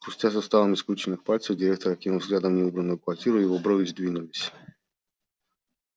хрустя суставами скрюченных пальцев директор окинул взглядом неубранную квартиру его брови сдвинулись